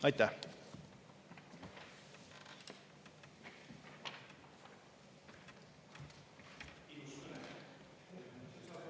Aitäh!